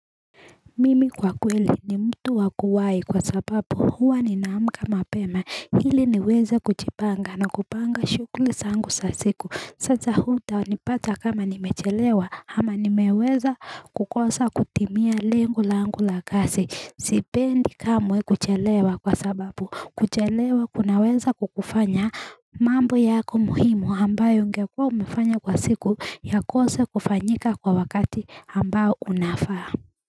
Mimi kwa kweli ni mtu wakuwai kwa sababu huwa ninaamka mapema hili niweze kuchipanga na kupanga shukuli zangu sa siku Sasa huta nipata kama nimechelewa ama nimeweza kukosa kutimia lengo langu la kasi Sipendi kamwe kuchelewa kwa sababu kuchelewa kunaweza kukufanya mambo yako muhimu ambayo ungekuwa umefanya kwa siku ya kose kufanyika kwa wakati ambao unafaa.